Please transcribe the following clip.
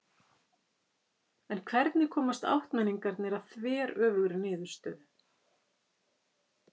En hvernig komast áttmenningarnir að þveröfugri niðurstöðu?